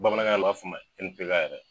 Bamanankan u b'a f'a ma yɛrɛ